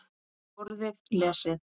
Borðið lesið.